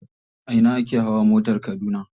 A ina ake hawa motar Kaduna.